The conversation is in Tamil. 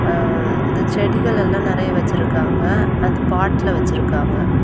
எ ம் இந்த செடிகள் எல்லாம் நெறைய வெச்சுருக்காங்க அந்த பாட்ல வெச்சுருக்காங்க.